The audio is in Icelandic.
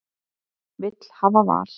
Vil hafa val